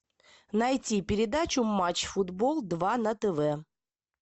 найти передачу матч футбол два на тв